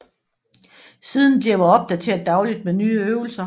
Siden bliver opdateret dagligt med nye øvelser